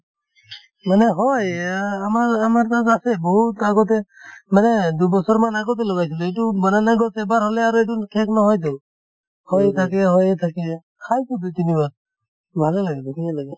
মানে হয় এইয়া আমাৰ আমাৰ তাত আছে বহুত আগতে মানে দুবছৰ মান আগতে লগাইছিলো এইটো banana গছ এবাৰ হলে আৰু এইটো শেষ নহয় তো হৈয়ে থাকে হৈয়ে থাকে খাইছো দুই তিনি বাৰ ভালে লাগিছে